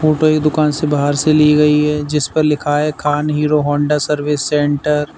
Photo एक दुकान से बाहर से ली गई है जिस पर लिखा है Khan Hero Honda service centre.